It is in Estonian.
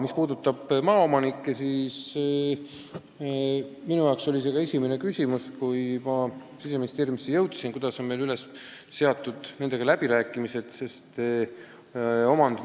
Mis puudutab maaomanikke, siis minu jaoks oli esimene küsimus pärast seda, kui ma Siseministeeriumisse jõudnud olin, kuidas meil nendega läbirääkimised kulgevad.